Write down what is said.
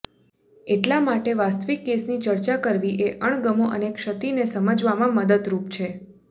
એટલા માટે વાસ્તવિક કેસની ચર્ચા કરવી એ અણગમો અને ક્ષતિને સમજવામાં મદદરૂપ છે